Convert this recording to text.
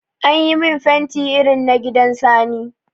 Ayi min fanti irin na gidan Sani.